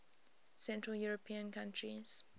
central european countries